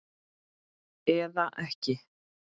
Eða ekki.